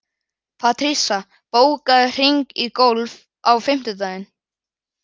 Patrisía, bókaðu hring í golf á fimmtudaginn.